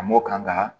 A mɔ kan ka